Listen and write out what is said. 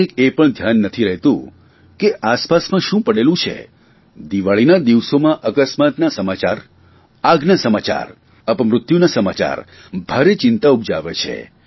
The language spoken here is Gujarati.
કયારેય એ પણ ધ્યાન નથી રહેતું કે આસપાસમાં શું પડેલું છે દિવાળીના દિવસોમાં અકસ્માતના સમાચાર આગના સમાચાર અપમૃત્યુના સમાચાર ભારે ચિંતા ઉપજાવે છે